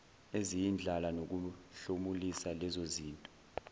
eziyindlala nokuhlomulisa lezozinto